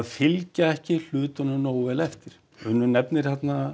fylgja ekki hlutunum nógu vel eftir Unnur nefnir